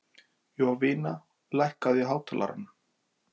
Jovina, lækkaðu í hátalaranum.